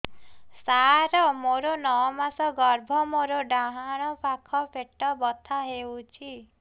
ସାର ମୋର ନଅ ମାସ ଗର୍ଭ ମୋର ଡାହାଣ ପାଖ ପେଟ ବଥା ହେଉଛି